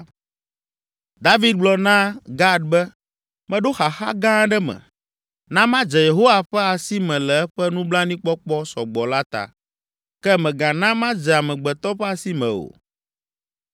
David gblɔ na Gad be, “Meɖo xaxa gã aɖe me. Na madze Yehowa ƒe asi me le eƒe nublanuikpɔkpɔ sɔ gbɔ la ta, ke mègana madze amegbetɔ ƒe asi me o.”